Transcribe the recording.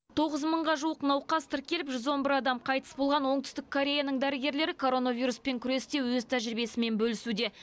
тоғыз мыңға жуық науқас тіркеліп жүз он бір адам қайтыс болған оңтүстік кореяның дәрігерлері коронавируспен күресте өз тәжірибесімен бөлісуде